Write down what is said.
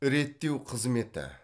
реттеу қызметі